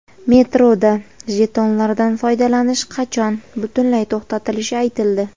Metroda jetonlardan foydalanish qachon butunlay to‘xtatilishi aytildi.